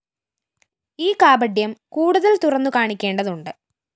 ഈ കാപട്യം കൂടുതല്‍ തുറന്നുകാണിക്കേണ്ടതുണ്ട്